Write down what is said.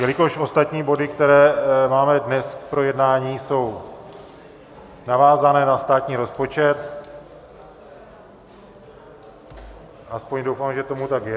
Jelikož ostatní body, které máme dnes k projednání, jsou navázané na státní rozpočet, aspoň doufám, že tomu tak je.